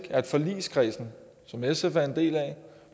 at forligskredsen som sf er en del af